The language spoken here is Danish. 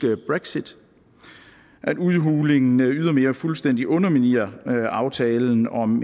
brexit at udhulingen ydermere fuldstændig underminerer aftalen om